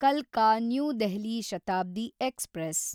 ಕಲ್ಕಾ– new Delhi Shatabdi express